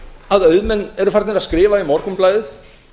að auðmenn eru farnir að skrifa í morgunblaðið